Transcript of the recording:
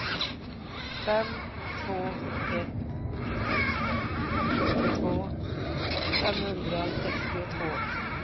fem två ett sex sjuttiotvå femhundrasextiotvå